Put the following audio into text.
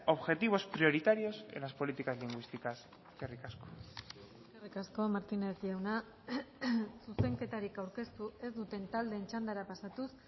objetivos prioritarios en las políticas lingüísticas eskerrik asko eskerrik asko martinez jauna zuzenketarik aurkeztu ez duten taldeen txandara pasatuz